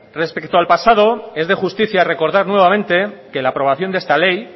respecto al pasado es de justicia recordar nuevamente que la aprobación de esta ley